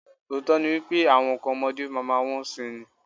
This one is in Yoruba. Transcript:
Òtítọ́ ni wípé, àwọn ǹkọ ọmọdé máa ma wón si ni.